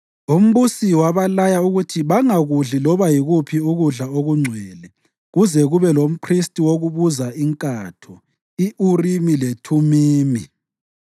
Umbusi wabalaya ukuthi bangakudli loba yikuphi ukudla okungcwele kuze kube lomphristi wokubuza inkatho i-Urimi leThumimi.